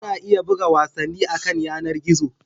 Ana iya buga wasanni akan yanar gizo.